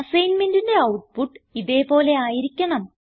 അസൈൻമെന്റിന്റെ output ഇതേ പോലെ ആയിരിക്കണം